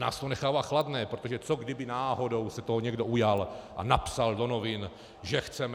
Nás to nechává chladné, protože co kdyby náhodou se toho někdo ujal a napsal do novin, že chceme...